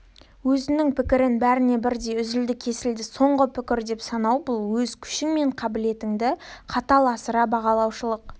өзінің пікірін бәріне бірдей үзілді-кесілді соңғы пікір деп санау бұл өз күшің мен қабілетіңді қатал асыра бағалаушылық